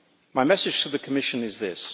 My message to the Commission is this.